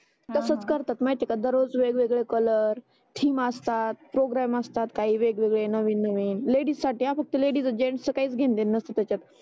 हा हा तसच करतात माहिती का दर रोज वेगवेगळे कलर्स थीम असतात प्रोग्राम असतात काही वेगवेगळे नवीन नवीन लेडीजसाठी फक्त हा लेडीज जेंट्सच काही घेण देन नसते त्याच्यात